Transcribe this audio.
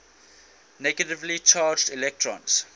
negatively charged electrons